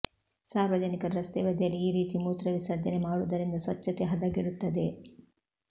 ಸಾರ್ವಜನಿಕರು ರಸ್ತೆ ಬದಿಯಲ್ಲಿ ಈ ರೀತಿ ಮೂತ್ರ ವಿಸರ್ಜನೆ ಮಾಡುವುದರಿಂದ ಸ್ವಚ್ಛತೆ ಹದಗೆಡುತ್ತದೆ